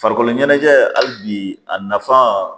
Farikolo ɲɛnajɛ hali bi a nafan